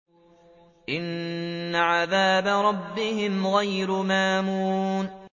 إِنَّ عَذَابَ رَبِّهِمْ غَيْرُ مَأْمُونٍ